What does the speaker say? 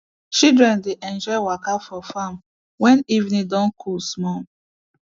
children dey enjoy waka for farm when evening don cool small